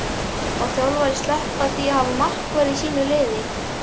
Má þjálfari sleppa því að hafa markvörð í sínu liði?